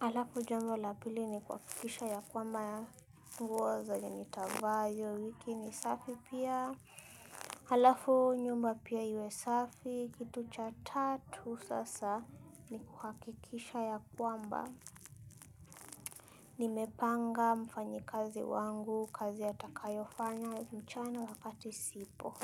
Halafu jambo la pili ni kuhakikisha ya kwamba nguo zenye nitavaa hiyo wiki ni safi pia. Halafu nyumba pia iwe safi kitu cha tatu sasa. Ni kuhakikisha ya kwamba nimepanga mfanyikazi wangu kazi atakayofanya mchana wakati sipo.